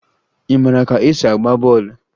Ị mara ka esi agba bọọlụ?